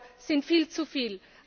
EUR sind viel zu viel.